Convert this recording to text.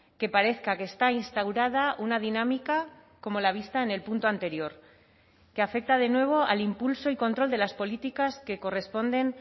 que parezca que está instaurada una dinámica como la vista en el punto anterior que afecta de nuevo al impulso y control de las políticas que corresponden